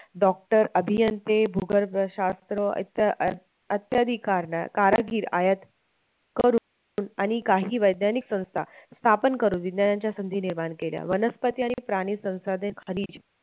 Doctor, अभियंते भूगर्भशात्र इत्यादी अत्याधिक कारण आहे, कारागीर आयात करून आणि काही वैज्ञानिक संस्था स्थापन करून विज्ञानाच्या संधी निर्माण केल्या वनस्पती आणि प्राणी संसाधन खनिज